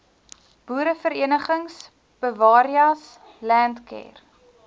boereverenigings bewareas landcare